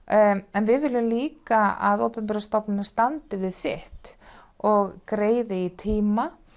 en við viljum líka að opinberar stofnanir standi við sitt og greiði í tíma